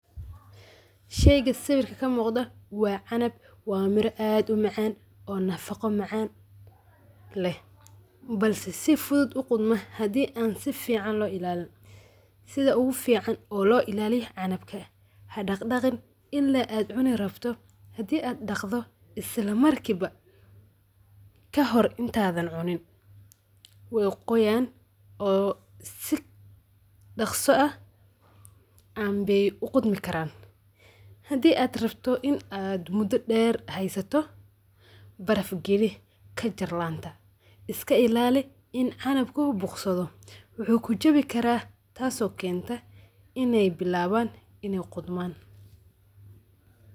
Sheyga sawirka kaa muqda waa canab waa miira aad uu macan oo nafaqo macan leh balse sii fuduud uu qudmaa hadii aan sii fcn lo ilalin sidaa ogu fican oo lo ilaliyo canabka hadaqdaqiin ila aad cunii rabto hadii aad dhaqdo isla markiiba kahor intadan cuniin wey qoyan oo sii dhaqso aah anbey uu qodmii karan hadii aad rabto iin aad muda dher haysato baraf gaali kajar laanta iska ilaali iin canabku buqsaado wuxu kujawi kara taso kenta ine bilawan inee qudman.